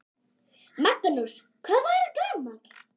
Magnús: Hvað var hann gamall?